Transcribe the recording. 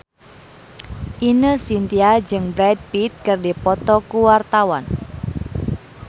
Ine Shintya jeung Brad Pitt keur dipoto ku wartawan